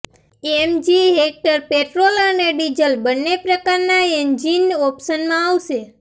MG Hector petrol અને diesel બંને પ્રકારના એન્જિન ઓપ્શનમાં આવશે